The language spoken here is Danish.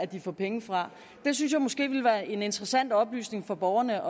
de får penge fra det synes jeg måske ville være en interessant oplysning for borgerne